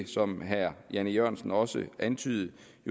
som herre jan e jørgensen også antydede